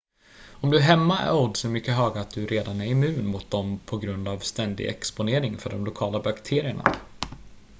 om du är hemma är oddsen mycket höga att du redan är immun mot dem på grund av ständig exponering för de lokala bakterierna